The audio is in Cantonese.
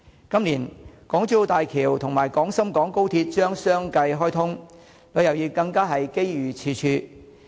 今年，港珠澳大橋及廣深港高鐵將相繼開通，旅遊業更加機遇處處。